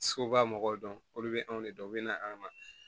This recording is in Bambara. Segu b'a mɔgɔw dɔn olu bɛ anw de dɔn u bɛ na an ma